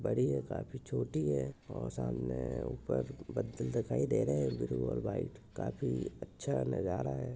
बड़ी है काफी छोटी है और सामाने ऊपर बत्तील दिखाई दे रहे है ब्लू और व्हाइट काफी अच्छा नजारा है।